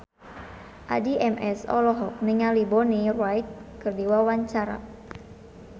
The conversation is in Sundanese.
Addie MS olohok ningali Bonnie Wright keur diwawancara